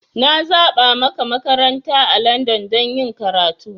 Na zaba maka makaranta a Landan don yin karatu.